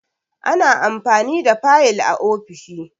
Ana amfani da fayil a ofishi